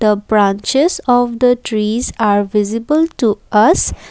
the branches of the trees are visible to us.